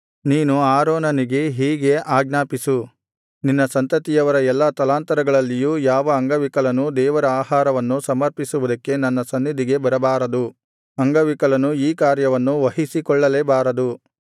ನೀನು ಆರೋನನಿಗೆ ಹೀಗೆ ಆಜ್ಞಾಪಿಸು ನಿನ್ನ ಸಂತತಿಯವರ ಎಲ್ಲಾ ತಲಾಂತರಗಳಲ್ಲಿಯೂ ಯಾವ ಅಂಗವಿಕಲನೂ ದೇವರ ಆಹಾರವನ್ನು ಸಮರ್ಪಿಸುವುದಕ್ಕೆ ನನ್ನ ಸನ್ನಿಧಿಗೆ ಬರಬಾರದು ಅಂಗವಿಕಲನು ಈ ಕಾರ್ಯವನ್ನು ವಹಿಸಿಕೊಳ್ಳಲೇ ಬಾರದು